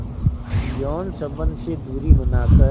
यौन संबंध से दूरी बनाकर